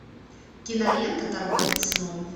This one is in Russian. кинолента торговец сном